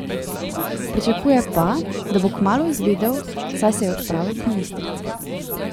Pričakuje pa, da bo kmalu izvedel, saj se je odpravil k ministrici.